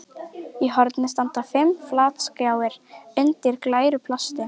Í horni standa fimm flatskjáir undir glæru plasti.